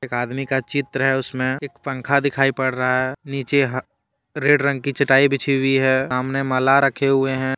एक आदमी का चित्र है उसमे एक पंखा दिखाई पड़ रहा हैं नीचे ह रेड रंग की चटाई बिछी हुई हैं सामने माला रखे हुए हैं।